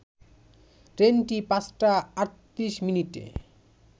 ট্রেনটি ৫টা ৩৮ মিনিটে